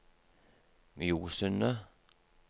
Mjosundet